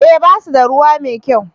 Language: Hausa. eh ba su da ruwa mai kyau